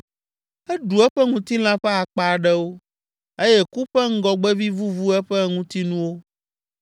Eɖu eƒe ŋutilã ƒe akpa aɖewo eye ku ƒe ŋgɔgbevi vuvu eƒe ŋutinuwo